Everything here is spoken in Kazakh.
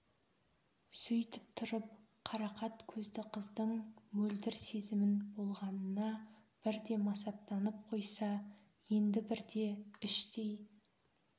сөйтіп тұрып қарақат көзді қыздың мөлдір сезімін болғанына бірде масаттанып қойса енді бірде іштей